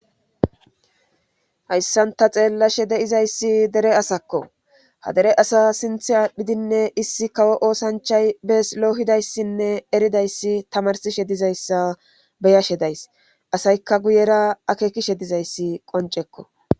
Hayssan ta xeelashe dizayssi dere asakko ha dere asa sinththe aadhidi issi oosanchay bees lohidayssinne eridayssi tamarsishe dizayssa be'ashe days. Asaykka guyera akeekishe dizayssi qonccekko.